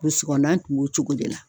Burusi kɔnɔna kun b'o cogo de la